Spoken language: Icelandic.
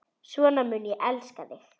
Svona mun ég elska þig.